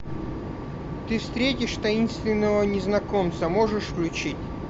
ты встретишь таинственного незнакомца можешь включить